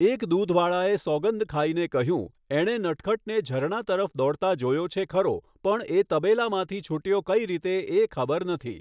એક દૂધવાળાએ સોગંદ ખાઈને કહ્યું, એણે નટખટને ઝરણા તરફ દોડતા જોયો છે ખરો પણ એ તબેલામાંથી છૂટ્યો કઈ રીતે એ ખબર નથી.